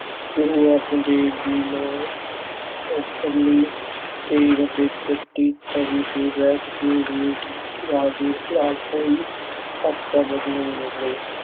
ਗੁਰੂ ਅਰਜਨ ਦੇਵ ਜੀ ਨੇ ਤੇਗ ਤੇ ਤੱਤੀ ਤਵੀ ਕੇ ਵੀ ਜਹਾਂਗੀਰ ਖਿਲਾਫ ਕੋਈ ਅਪਸ਼ਬਦ ਨਹੀਂ ਬੋਲੇ।